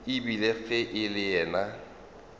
ebile ge e le yena